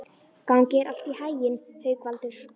Gangi þér allt í haginn, Haukvaldur.